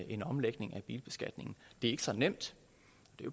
en omlægning af bilbeskatningen det er ikke så nemt